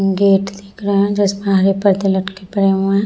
gate दिख रहा है जिसमें हरे परदे लटके पड़े हुए हैं |